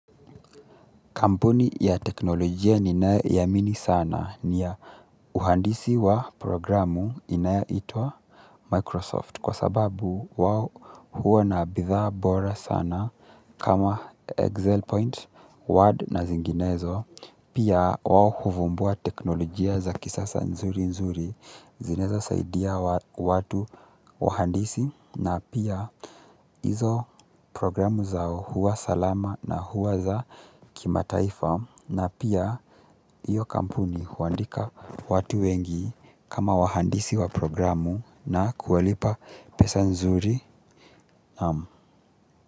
Kampuni ya teknolojia ninayoiamini sana ni ya uhandisi wa programu inaitwa Microsoft kwa sababu wao huwa na bidhaa bora sana kama Excel Point, Word na zinginezo. Pia wao huvumbua teknolojia za kisasa nzuri nzuri zinaeza saidia watu wahandisi na pia hizo programu zao huwa salama na huwa za kima taifa na pia iyo kampuni huandika watu wengi kama wahandisi wa programu na kuwalipa pesa nzuri.